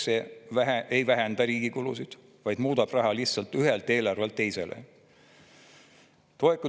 Esiteks, see ei vähenda riigi kulusid, vaid muudab raha lihtsalt ühelt eelarvelt teisele.